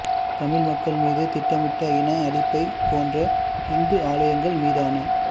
தமிழ் மக்கள் மீது திட்டமிட்ட இன அழிப்பைப் போன்றே இந்து ஆலயங்கள் மீதான